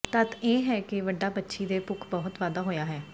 ਤੱਥ ਇਹ ਹੈ ਕਿ ਵੱਡਾ ਪੰਛੀ ਦੇ ਭੁੱਖ ਬਹੁਤ ਵਾਧਾ ਹੋਇਆ ਹੈ